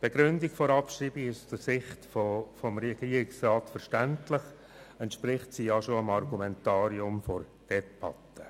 Die Begründung der Abschreibung ist aus Sicht des Regierungsrats verständlich, entspricht sie doch dem Argumentarium in der Debatte.